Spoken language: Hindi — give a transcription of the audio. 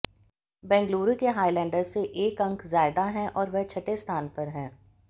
बेंगलुरु के हाईलैंडर्स से एक अंक ज्यादा है और वह छठे स्थान पर है